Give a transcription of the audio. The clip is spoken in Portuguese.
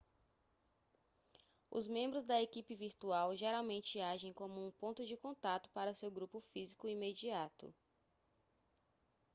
os membros da equipe virtual geralmente agem como o ponto de contato para seu grupo físico imediato